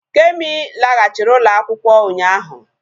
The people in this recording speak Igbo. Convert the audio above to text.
Kemi laghachiri ụlọ akwụkwọ ụnyaahụ